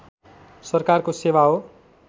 सरकारको सेवा हो